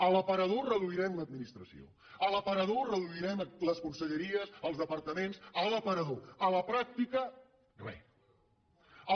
a l’aparador reduirem l’administració a l’aparador reduirem les conselleries els departaments a l’aparador a la pràctica res